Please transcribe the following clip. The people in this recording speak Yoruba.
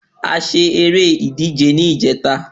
A ṣá eré ìdíje ni ìjẹta